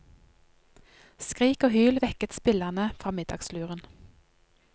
Skrik og hyl vekket spillerne fra middagsluren.